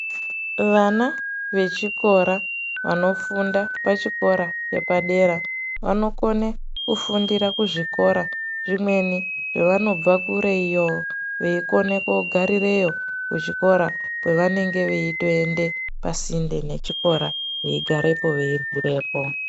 Vana vechikora vanofunda pachikora chepadera vanokone kufundira kuzvikora zvimweni zvevanobva kure iyo. Veikone kogarireyo kuzvikora kwavanenge veitoende pasinde nechikora veigarepo veiryirepo.